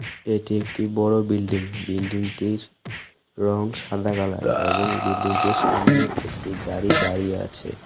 এটি একটি বড় বিল্ডিং বিল্ডিংটির রঙ সাদা কালার এবং বিল্ডিংটির সামনে একটি গাড়ি দাঁড়িয়ে আছে.